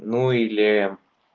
ну или